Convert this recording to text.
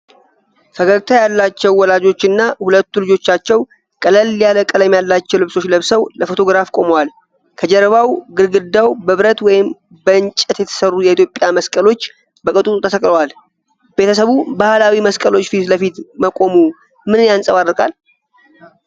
ፈገግታ ያላቸው ወላጆችና ሁለቱ ልጆቻቸው ቀለል ያለ ቀለም ያላቸው ልብሶች ለብሰው ለፎቶግራፍ ቆመዋል። ከጀርባቸው ግድግዳው በብረት ወይም በእንጨት የተሠሩ የኢትዮጵያ መስቀሎች በቅጡ ተሰቅለዋል። ቤተሰቡ በባህላዊ መስቀሎች ፊት ለፊት መቆሙ ምንን ያንጸባርቃል?